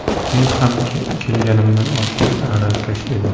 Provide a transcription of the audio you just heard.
Men ham kelganimda oddiy aravakash edim.